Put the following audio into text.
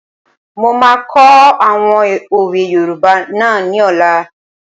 Mo máa kọ́ àwọn òwe yoòbá náà ní ọ̀la